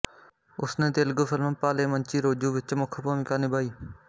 ਉਸਨੇ ਤੇਲਗੂ ਫ਼ਿਲਮ ਭਾਲੇ ਮੰਚੀ ਰੋਜੂ ਵਿੱਚ ਮੁੱਖ ਭੂਮਿਕਾ ਨਿਭਾਈ